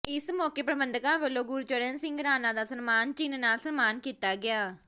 ਇਸ ਮੌਕੇ ਪ੍ਰਬੰਧਕਾਂ ਵੱਲੋਂ ਗੁਰਚਰਨ ਸਿੰਘ ਰਾਣਾ ਦਾ ਸਨਮਾਨ ਚਿੰਨ੍ਹ ਨਾਲ ਸਨਮਾਨ ਕੀਤਾ ਗਿਆ